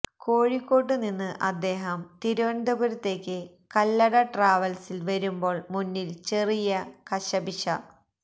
കോഴിക്കോട്ടുനിന്ന് അദ്ദേഹം തിരുവനന്തപുരത്തേക്കു കല്ലട ട്രാവല്സില് വരുമ്പോള് മുന്നില് ചെറിയ കശപിശ